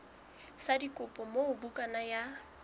sa dikopo moo bukana ya